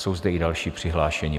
Jsou zde i další přihlášení.